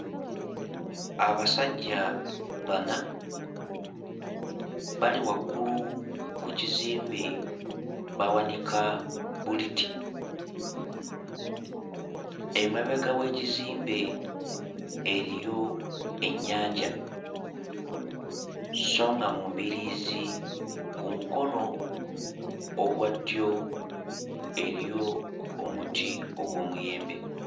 Abasajja bana bali waggulu ku kizimbe bawanika bbuliti. Emabega w'ekizimbe eriyo ennyanja sso nga mu mbiriizi ku mukono ogwa ddyo eriyo omuti ogw'omuyembe.